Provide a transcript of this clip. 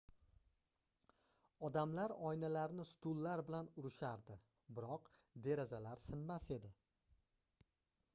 odamlar oynalarni stullar bilan urishardi biroq derazalar sinmas edi